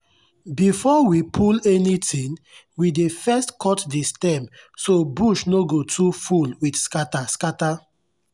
before we pull anything we dey first cut the stem so bush no go too full with scatter-scatter.